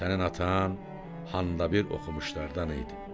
Sənin atan handa bir oxumuşlardan idi.